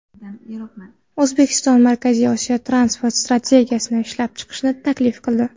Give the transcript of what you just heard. O‘zbekiston Markaziy Osiyo transport strategiyasini ishlab chiqishni taklif qildi.